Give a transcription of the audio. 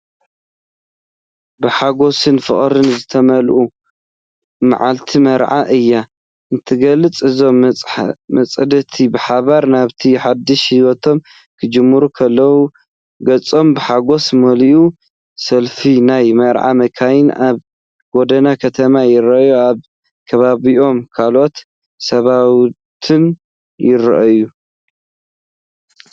ብሓጎስን ፍቕርን ዝተመልአት መዓልቲ መርዓ እያ እትገልጽ! እዞም መጻምድቲ ብሓባር ናብቲ ሓድሽ ህይወቶም ክጅምሩ ከለዉ ገጾም ብሓጎስ መሊኡ። ሰልፊ ናይ መርዓ መካይን ኣብ ጎደና ከተማ ይርአ። ኣብ ከባቢኦም ካልኦት ሰባትንውን ይረኣዩ።